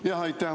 Jah, aitäh!